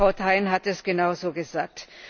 Und Frau Thein hat es genauso gesagt.